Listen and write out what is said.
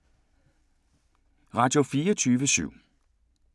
Radio24syv